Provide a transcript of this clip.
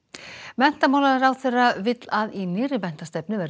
menntamálaráðherra vill að í nýrri menntastefnu verði